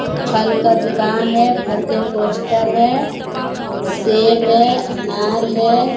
फल का दुकान है फल के पोस्टर है सेव है अनार है ।